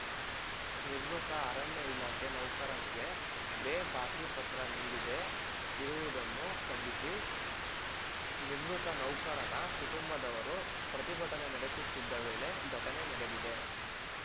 ನಿವೃತ್ತ ಅರಣ್ಯ ಇಲಾಖೆ ನೌಕರನಿಗೆ ಬೇ ಬಾಕಿ ಪತ್ರ ನೀಡದೆ ಇರುವುದನ್ನು ಖಂಡಿಸಿ ನಿವೃತ್ತ ನೌಕರನ ಕುಟುಂಬದವರು ಪ್ರತಿಭಟನೆ ನಡೆಸುತ್ತಿದ್ದ ವೇಳೆ ಘಟನೆ ನಡೆದಿದೆ